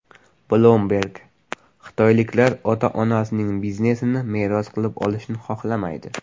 Bloomberg: Xitoyliklar ota-onasining biznesini meros qilib olishni xohlamaydi.